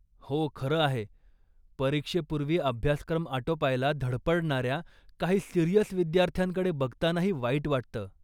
हो, खरं आहे. परीक्षेपूर्वी अभ्यासक्रम आटोपायला धडपडणाऱ्या काही सिरियस विद्यार्थ्यांकडे बघतानाही वाईट वाटतं